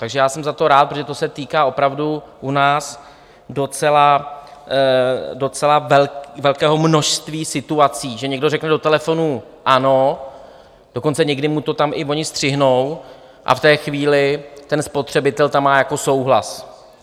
Takže já jsem za to rád, protože to se týká opravdu u nás docela velkého množství situací, že někdo řekne do telefonu ano, dokonce někdy mu to tam i oni střihnou, a v té chvíli ten spotřebitel tam má jako souhlas.